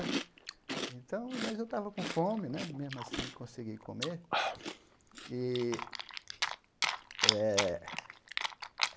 Então mas eu estava com fome né, mesmo assim, consegui comer. E eh